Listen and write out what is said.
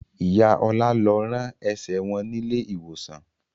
Ìyá Ọlá lọ rán ẹsẹ̀ wọn nílé ìwòsàn